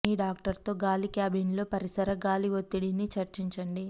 మీ doctor తో గాలి క్యాబిన్లలో పరిసర గాలి ఒత్తిడిని చర్చించండి